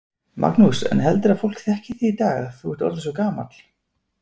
Magnús: En heldurðu að fólk þekki þig í dag, þú ert orðinn svo gamall?